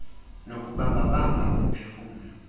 nokubamba bamba umphefumlo